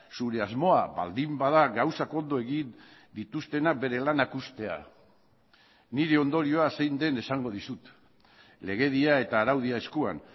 zure asmoa baldin bada gauzak ondo egin dituztenak bere lanak uztea nire ondorioa zein den esango dizut legedia eta araudia eskuan